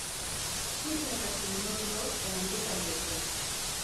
chif nyaka timno nonro e andika ge te